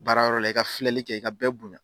Baara yɔrɔ la i ka filɛli kɛ i ka bɛɛ bonya